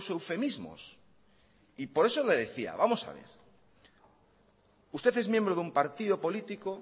eufemismos y por eso le decía vamos a ver usted es miembro de un partido político